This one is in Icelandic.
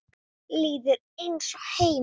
Líður eins og heima.